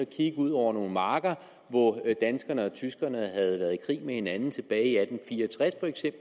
kigge ud over nogle marker hvor danskerne og tyskerne havde været i krig med hinanden tilbage i atten fire og tres